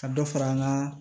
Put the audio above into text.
Ka dɔ fara an ka